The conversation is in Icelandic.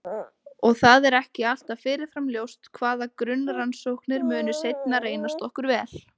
Og það er ekki alltaf fyrirfram ljóst hvaða grunnrannsóknir munu seinna reynast okkur vel.